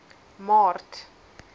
maart